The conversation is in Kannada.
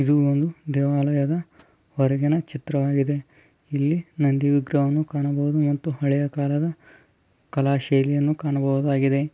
ಇದು ಒಂದು ದೇವಾಲಯದ ಹೊರಗಿನ ಚಿತ್ರ ವಾಗಿದೆ .ಇಲ್ಲಿ ನಂದಿ ವಿಗ್ರಹವನ್ನು ಕಾಣಬಹುದು .ಮತ್ತು ಇಲ್ಲಿ ಹಳೆ ಕಾಲದ ಕಲಾ ಶೈಲಿಯನ್ನು ಕಾಣಬಹುದಾಗಿದೆ .